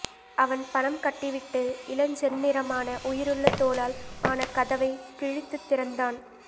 அவன் பணம் கட்டிவிட்டு இளஞ்செந்நிறமான உயிருள்ள தோலால் ஆன கதவை கிழித்துத் திறந்தான்